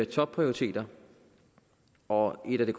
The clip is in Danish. topprioriteter og en af det